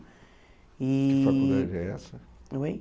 E. Que faculdade é essa? Oi?